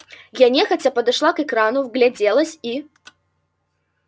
я нехотя подошла к экрану вгляделась и